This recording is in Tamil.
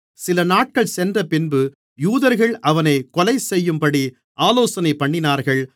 சிலநாட்கள் சென்றபின்பு யூதர்கள் அவனைக் கொலைசெய்யும்படி ஆலோசனைபண்ணினார்கள்